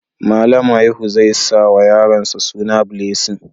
Malam haihu zai sa wa yaronsa suna Blessing